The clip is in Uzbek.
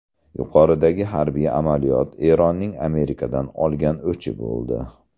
Yuqoridagi harbiy amaliyot Eronning Amerikadan olgan o‘chi bo‘ldi.